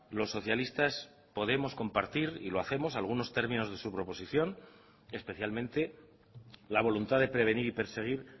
los socialistas podemos compartir y lo hacemos algunos términos de su proposición especialmente la voluntad de prevenir y perseguir